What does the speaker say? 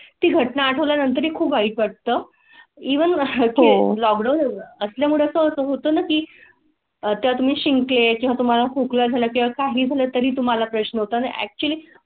ती घटना आठवल्या नंतर खूप वाईट वाटतं. ईव्ही असल्यामुळे असं होतं की त्या तुम्ही शिंक ली किंवा तुम्हाला खोकला झाला की काही झालं तरी तुम्हाला प्रश्न होता अॅक्चूअली.